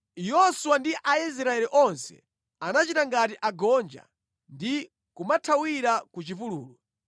Yoswa ndi Aisraeli onse anachita ngati agonja ndi kumathawira ku chipululu.